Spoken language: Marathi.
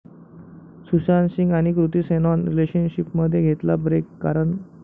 सुशांत सिंग आणि कृती सेनाॅननं रिलेशनशिपमध्ये घेतला ब्रेक, कारण...